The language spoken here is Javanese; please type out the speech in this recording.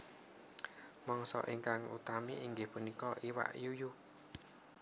Mangsa ingkang utami inggih punika iwak yuyu